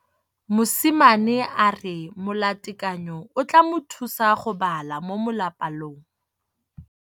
Mosimane a re molatekanyô o tla mo thusa go bala mo molapalong.